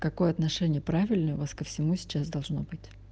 какое отношение правильное у вас ко всему сейчас должно быть